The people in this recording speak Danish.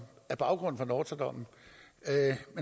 er baggrunden for nortra dommen